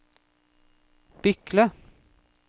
Bykle